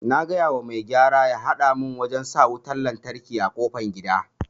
Na gayawa mai gyara ya hada mun wajen sa wutan lantraki a kofar gida